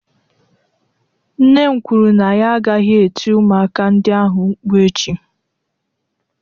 Nne m kwuru na ya agaghị eti ụmụaka ndị ahụ mkpu echi.